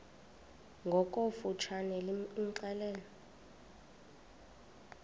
ngokofu tshane imxelele